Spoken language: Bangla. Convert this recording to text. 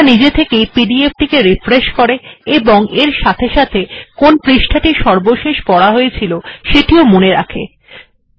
সুমাত্রা নিজে থেকেই pdf টিকে রিফ্রেশ করে এবং এর সাথে সাথে কোন পৃষ্ঠা টি সর্বশেষ পড়া হয়েছিলসেটিও মনে রাখে